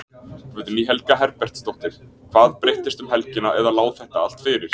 Guðný Helga Herbertsdóttir: Hvað breyttist um helgina eða lá þetta allt fyrir?